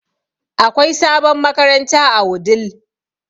Akwai sabon makaranta a Wudil